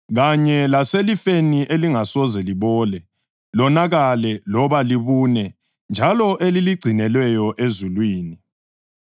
kanye laselifeni elingasoze libole, lonakale loba libune njalo eliligcinelweyo ezulwini.